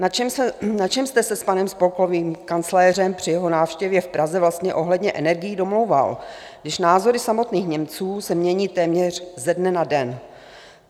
Na čem jste se s panem spolkovým kancléřem při jeho návštěvě v Praze vlastně ohledně energií domlouval, když názory samotných Němců se mění téměř ze dne na den?